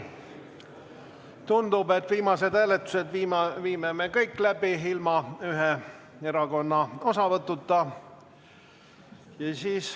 Tundub, et viimased hääletused viime me kõik läbi ilma ühe erakonna osavõtuta.